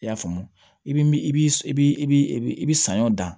I y'a faamu i bi min i bi i bi i bi saɲɔ dan